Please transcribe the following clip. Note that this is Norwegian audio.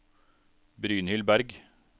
Brynhild Bergh